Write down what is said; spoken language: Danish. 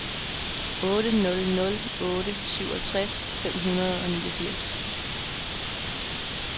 otte nul nul otte syvogtres fem hundrede og niogfirs